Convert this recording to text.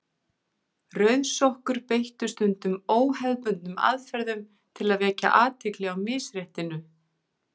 Rauðsokkur beittu stundum óhefðbundnum aðferðum til að vekja athygli á misréttinu.